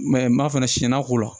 Mɛ n ma fana siɲɛnna k'o la